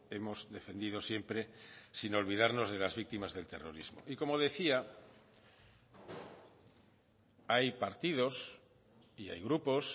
hemos defendido siempre sin olvidarnos de las víctimas del terrorismo y como decía hay partidos y hay grupos